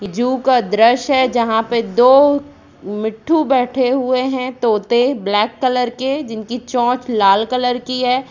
जू दृश्य है जहाँ पे दो मिट्ठू बैठे हुए है तोते ब्लैक कलर के जिनकी चोच लाल कलर की है।